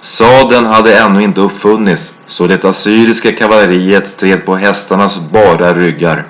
sadeln hade ännu inte uppfunnits så det assyriska kavalleriet stred på hästarnas bara ryggar